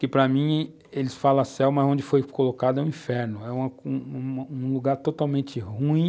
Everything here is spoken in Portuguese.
Que para mim, eles falam céu, mas onde foi colocado é um inferno, é um lugar totalmente ruim,